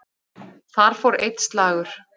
Þar fór einn slagur.